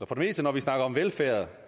og for det meste når vi snakker om velfærd